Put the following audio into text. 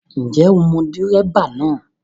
Ǹjẹ́ o mọ dẹ́ríbà náà?